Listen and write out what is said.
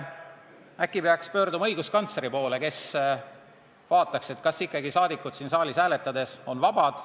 Äkki peaks pöörduma õiguskantsleri poole, kes vaataks, kas rahvasaadikud siin saalis hääletades on ikka vabad.